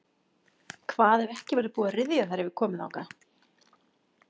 Hvað ef ekki verður búið að ryðja þegar við komum þangað?